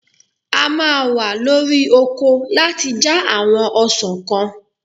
A máa wa lórí oko láti já àwọn ọsàn kan.